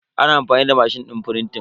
Ana amfani da mashin din frintin